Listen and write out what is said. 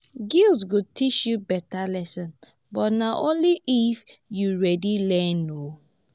guilt go teach you better lesson but na only if you ready learn. um